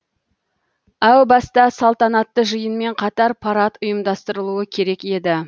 әу баста салтанатты жиынмен қатар парад ұйымдастырылуы керек еді